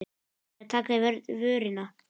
Eða taka í vörina.